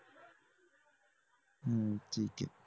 हम्म ठीक आहे